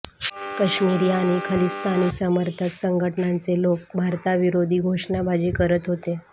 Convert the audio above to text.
काश्मिरी आणि खलिस्तानी समर्थक संघटनांचे लोक भारताविरोधी घोषणाबाजी करत होते